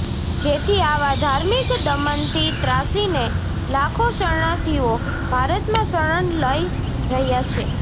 જેથી આવા ધાર્મિક દમનથી ત્રાસીને લાખો શરણાર્થીઓ ભારતમાં શરણ લઈ રહ્યાં છે